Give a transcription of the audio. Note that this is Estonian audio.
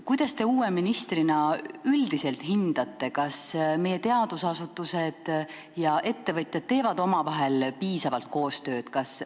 Kuidas te uue ministrina üldiselt hindate, kas meie teadusasutused ja ettevõtjad teevad omavahel piisavalt koostööd?